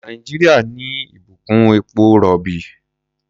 Nàìjíríà ní ìbùkún epo-rọ̀bì.